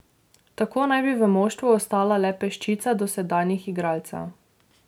Tako naj bi v moštvu ostala le peščica dosedanjih igralcev.